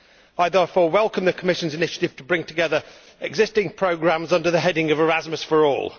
I therefore welcome the Commission's initiative to bring together existing programmes under the heading of Erasmus for All.